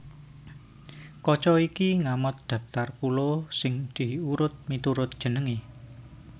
Kaca iki ngamot dhaptar pulo sing diurut miturut jenengé